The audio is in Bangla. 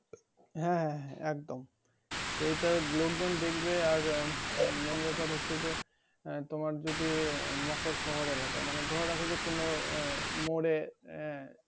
হ্যাঁ হ্যাঁ হ্যাঁ একদম সেইটা লোকজন দেখবে আর mein ব্যাপার হচ্ছে যে তোমার যদি মকর শহর এলাকা মানে ধরে রাখো যে কোনো আহ মোরে আহ